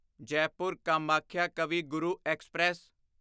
Jaipur Kamakhya Kavi Guru express